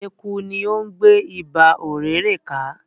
Eku ni o ń gbe Iba ọ̀rẹ̀rẹ̀ ka